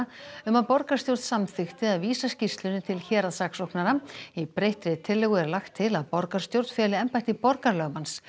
um að borgarstjórn samþykkti að vísa skýrslunni til héraðssaksóknara í breyttri tillögu er lagt til að borgarstjórn feli embætti borgarlögmanns